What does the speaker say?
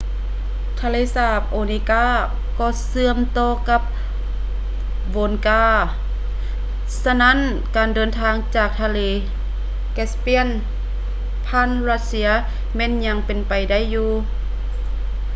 ທະເລສາບ onega ກໍເຊື່ອມຕໍ່ກັບ volga ສະນັ້ນການເດີນທາງຈາກທະເລ caspian ຜ່ານຣັດເຊຍແມ່ນຍັງເປັນໄປໄດ້ຢູ່